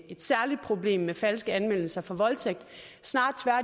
et særligt problem med falske anmeldelser for voldtægt snarere